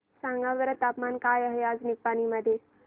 सांगा बरं तापमान काय आहे आज निपाणी मध्ये